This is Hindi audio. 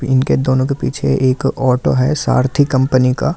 इनके दोनों के पीछे एक ऑटो है सारथी कंपनी का --